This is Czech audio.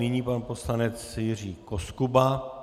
Nyní pan poslanec Jiří Koskuba.